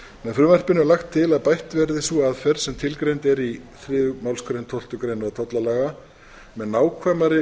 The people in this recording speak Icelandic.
frumvarpinu er lagt til að bætt verði sú aðferð sem tilgreind er í þriðju málsgrein tólftu grein tollalaga með nákvæmari